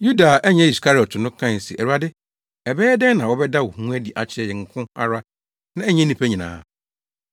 Yuda a ɛnyɛ Iskariot no, kae se, “Awurade, ɛbɛyɛ dɛn na wobɛda wo ho adi akyerɛ yɛn nko ara na ɛnyɛ nnipa nyinaa?”